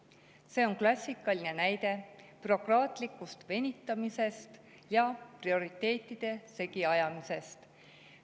See on klassikaline näide bürokraatlikust venitamisest ja prioriteetide segi ajamisest.